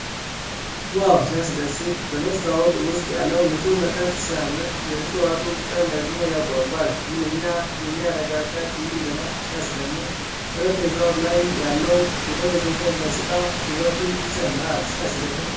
ዋው! ሲያስደስት! በመስታወት ውስጥ ያለው ንጹህ መጠጥ ሲያምር! የዕፅዋቱ ቅጠል ደግሞ ያጓጓል። ምንኛ የሚያረጋጋ ትዕይንት ነው! ሲያስደምም! ጠረጴዛው ላይ ያለው የደበዘዘ ገጽታ ውበቱን ይጨምራል። ሲያስገርም!